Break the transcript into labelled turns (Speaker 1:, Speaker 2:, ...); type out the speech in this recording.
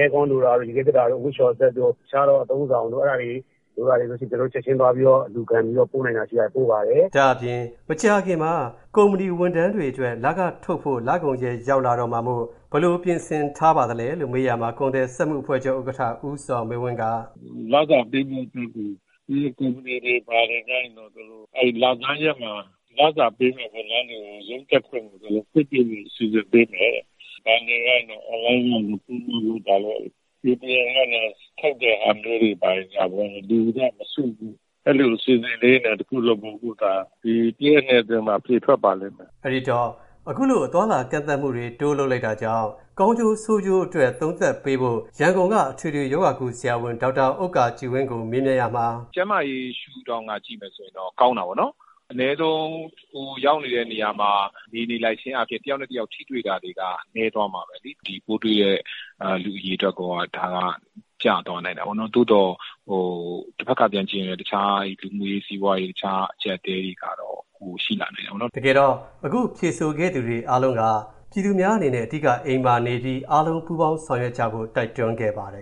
Speaker 1: Aircond လိုတာတို့၊ ရေခဲသေတ္တာတို့၊ အဝတ်လျှော်စက်တို့၊ တခြားသော အသုံးအဆောင်တို့၊ အဲ့ဒါတွေ လိုတာတွေဆိုရင် ချက်ချင်းသွားပြီး အလှူခံပြီးတော့ ပို့နိုင်တာတွေရှိရင် ပို့ပါတယ်။”
Speaker 2: ဒါ့အပြင် မကြာခင်မှာ ကုမ္ပဏီဝန်ထမ်းတွေအတွက် လခထုတ်ဖို့ လကုန်ရက် ရောက်လာတော့မှာမို့ ဘယ်လိုပြင်ဆင်ထားပါလဲလို့ မေးရာမှာ ကုန်သည်စက်မှုအသင်းချုပ် ဥက္ကဋ္ဌ ဦးဇော်မင်းဝင်းက အခ
Speaker 1: ုလိုပြောပါတယ်။ “ဒီ လစာပေးဖို့အတွက်ကို ဒီကုမ္ပဏီတွေ ဘာတွေကျရင်တော့ အဲ့ဒီ လဆန်းရက်မှာ လစာပေးမယ့် ဝန်ထမ်းတွေကို ရုံးတက်ခွင့်ကို သူတို့ ခွင့်ပြုဖို့ စီစဉ်ပေးမယ်တဲ့။ ဘဏ်တွေကနေပြီးတော့ အင်တာနက် On-Line ကနေ Payment လုပ်ပေးတာတို့၊ ATM ကနေ ထုတ်တဲ့ဟာမျိုးတွေဘာတွေ လူတွေအနေနဲ့ မစုမိအောင်။ အဲ့ဒီလို အစီအစဉ်လေးတွေနဲ့ တခုလုပ်ဖို့၊ အခုအခါ။ ဒီတရက် နှစ်ရက်အတွင်းမှာ အဖြေထွက်ပါလိမ့်မယ်
Speaker 2: ။” အဲ့ဒီတော့ အသွားအလာကန့်သတ်မှုတွေ ထပ်တိုးလုပ်လိုက်တာကြောင့် ကောင်းကျိုးဆိုးကျိုးအတွက် သုံးသပ်ပေးဖို့ ရန်ကုန်က အထွေထွေရောဂါကုဆရာဝန် ဒေါက်တာ ဥက္ကာကြည်ဝင်းကို မေးမြန်းရာမှာ-
Speaker 1: “ကျန်းမာရေးရှုထောင့်က ကြည့်ရင်တော့ ကောင်းတာပေါ့နော်။ အနည်းဆုံး ကိုယ်ရောက်နေတဲ့ နေရာမှာ နေနေလိုက်ခြင်းအားဖြင့် တယောက်နဲ့တယောက် ထိတွေ့တာတွေက နည်းသွားမှာပဲလေ။ ဒီပိုးတွေ့တဲ့ လူအရေအတွက်ရောက ကျသွားနိုင်တာပေါ့နော်။ သို့သော် တဖက်ကပြန်ကြည့်ရင်လည်း တခြား လူမှုရေး၊ စီးပွားရေး တခြားအကျပ်အတည်းတွေက
Speaker 2: တော့ ပိုရှိလာနိုင်တာပေါ့နော်။” လို့ ပြောပါတယ်။ တကယ်တော့ အခုဖြေဆိုခဲ့သူတွေအားလုံးက ပြည်သူများအနေနဲ့ အဓိက အိမ်မှာနေပြီး အားလုံး ပူးပေါင်းဆောင်ရွက်ကြဖို့ တိုက်တွန်းခဲ့ပါတယ်